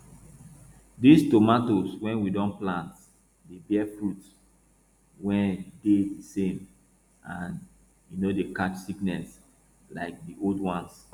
dis tomato wey we don plant dey bear fruit wey dey di same and e no dey catch sickness like di old ones